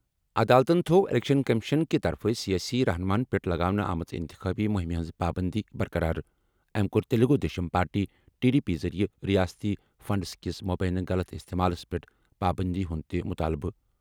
عدالتَن تھوٚو election commission کہِ طرفہٕ سیٲسی رہنُماہن پٮ۪ٹھ لگاونہٕ آمٕژ اِنتخٲبی مُہِمہِ ہِنٛز پابٔنٛدی برقرار أمۍ کوٚر Telugu Desam party T D P ذٔریعہٕ ریاستی فنڈز کِس مبینہٕ غلط استعمالس پٮ۪ٹھ پابٔنٛدی ہُنٛد تہِ مُطالبہٕ